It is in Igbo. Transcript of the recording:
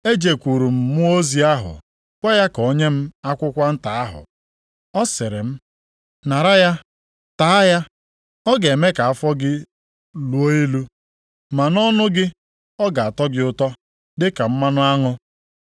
Ejekwuru m mmụọ ozi ahụ gwa ya ka o nye m akwụkwọ nta ahụ. Ọ sịrị m, “Nara ya, taa ya. Ọ ga-eme ka afọ gị luo ilu, ma ‘nʼọnụ gị, ọ ga-atọ gị ụtọ dịka mmanụ aṅụ.’ + 10:9 \+xt Izk 3:3\+xt*”